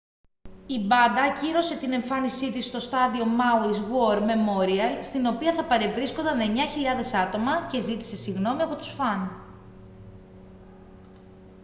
η μπάντα ακύρωσε την εμφάνισή της στο στάδιο μάουις γουορ μεμόριαλ στην οποία θα παρευρίσκονταν 9.000 άτομα και ζήτησε συγγνώμη από τους φαν